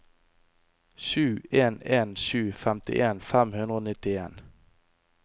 sju en en sju femtien fem hundre og nittien